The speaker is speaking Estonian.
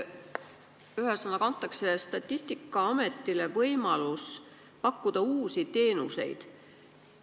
Selle eelnõuga antakse Statistikaametile võimalus pakkuda uusi teenuseid.